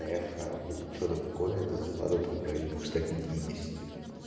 эхо или что-то такое это зарплата там в районе двухста пятидесяти